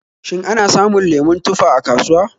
Shin ana samun lemon tufa a kasuwa?